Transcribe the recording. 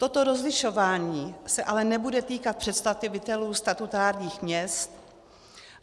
Toto rozlišování se ale nebude týkat představitelů statutárních měst.